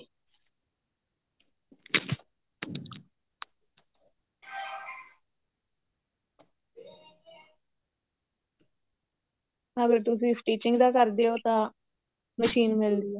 ਹਾਂ ਫੇਰ ਤੁਸੀਂ stitching ਦਾ ਕਰਦੇ ਓ ਤਾਂ ਮਸ਼ੀਨ ਮਿਲਦੀ ਏ